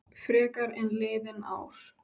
Frekar en liðin ár.